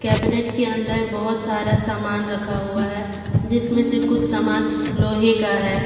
Cabinet के अंदर बहोत सारा सामान रखा हुआ है जिसमें से कुछ सामान लोहे का है।